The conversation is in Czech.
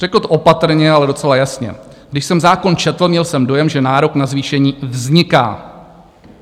Řekl to opatrně, ale docela jasně: "Když jsem zákon četl, měl jsem dojem, že nárok na zvýšení vzniká.